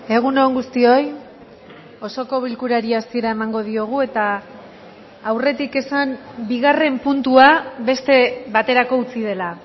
egun on guztioi osoko bilkurari hasiera emango diogu eta aurretik esan bigarren puntua beste baterako utzi dela